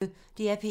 DR P1